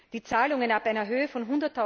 Die Zahlungen ab einer Höhe von